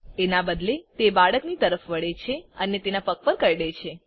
એનાં બદલે તે બાળકની તરફ વળે છે અને તેને પગ પર કરડે છે